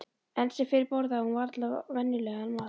Enn sem fyrr borðaði hún varla venjulegan mat.